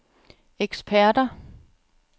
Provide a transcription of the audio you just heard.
eksperter